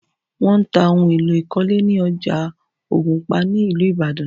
Wọ́n ń ta ohun èlò ìkọ́lé ní ọjà Ògùnpa ní ìlú Ìbàdàn